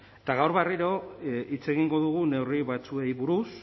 eta gaur berriro hitz egingo dugu neurri batzuei buruz